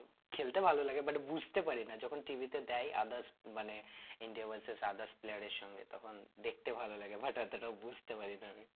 খেলতে ভালো লাগে but বুঝতে পারি না যখন T. V. তে দেয় others মানে India versus others player এর সঙ্গে তখন দেখতে ভালো লাগে but অতটা বুঝতে পারি না আমি।